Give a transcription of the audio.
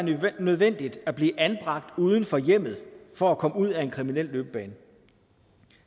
nødvendigt at blive anbragt uden for hjemmet for at komme ud af en kriminel løbebane